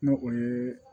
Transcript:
N'o o ye